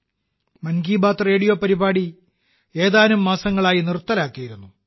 'മൻ Ki Baat' radio പരിപാടി ഏതാനും മാസങ്ങളായി നിർത്തലാക്കിയിരുന്നു